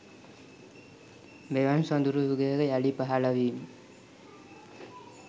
මෙවන් සොඳුරු යුගයක යළි පහළ වීම